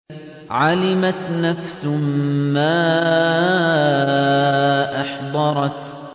عَلِمَتْ نَفْسٌ مَّا أَحْضَرَتْ